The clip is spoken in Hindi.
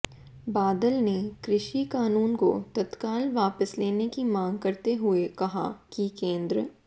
बादल ने कृषि कानून को तत्काल वापस लेने की मांग करते हुए कहा कि केंद्र